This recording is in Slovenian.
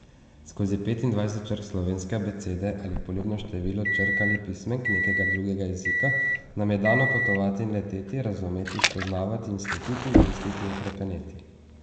Skozi petindvajset črk slovenske abecede ali poljubno število črk ali pismenk nekega drugega jezika nam je dano potovati in leteti, razumeti, spoznavati in slutiti, misliti in hrepeneti.